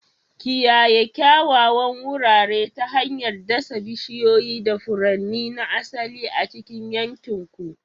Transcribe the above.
Kiyaye kyawawan wurare ta hanyar dasa bishiyoyi da furanni na asali a cikin yankin ku.